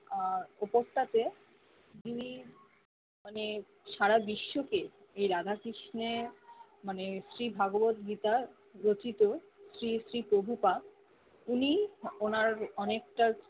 আহ উপটাকে যিমি মানে সারা বিশ্ব কে এই রাধা কৃষ্ণনে মানে শ্রী ভাগবত গীতার রচিত শ্রী শ্রী পভুপা উনি উনার অনেকটার